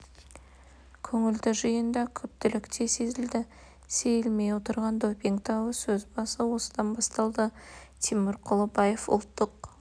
көңілді жиында күптілік те сезілді сейілмей отырған допинг дауы сөз басы осыдан басталды тимур құлыбаев ұлттық